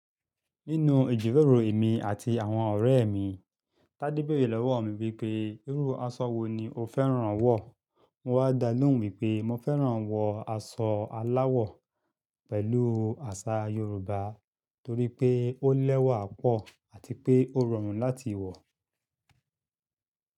Nínú ìjìrorọ̀ mi àti àwọn ọ̀rẹ́ mi, Tádé béèrẹ̀ lọ́wọ́ mi wípé, irú asọ wo ni o fẹ́ràn wọ̀? Mo wa dà lohun wipé, mo fẹ́ràn wọ asọ aláwọ̀ pẹ̀lú àṣà Yorùbá torí pé ó lẹ́wà pọ̀ àti pé ó rọrùn láti wọ̀